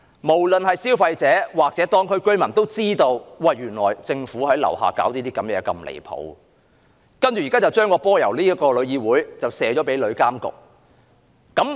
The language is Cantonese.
無論是消費者或居民都知道，政府在地區做了那麼多離譜的事，現在將責任由香港旅遊業議會交給旅監局。